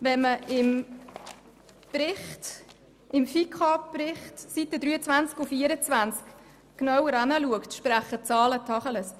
Wenn man auf den Seiten 23 und 24 des «Bericht der Finanzkommission zum Entlastungspaket 2018 und zum Voranschlag 2018 / Aufgaben-/ Finanzplan 2019–2021» genauer hinsieht, sprechen die Zahlen Tacheles.